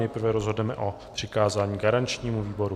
Nejprve rozhodneme o přikázání garančnímu výboru.